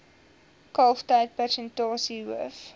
kalftyd persentasie hoof